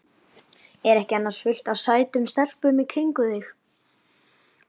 Er ekki annars fullt af sætum stelpum í kringum þig?